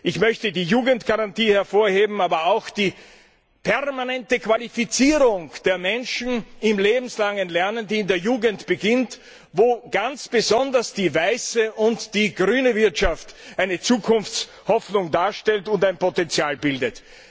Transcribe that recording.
Ich möchte die Jugendgarantie hervorheben, aber auch die permanente Qualifizierung der Menschen im lebenslangen Lernen, die in der Jugend beginnt, wo ganz besonders die weiße und die grüne Wirtschaft eine Zukunftshoffnung darstellt und ein Potenzial bildet.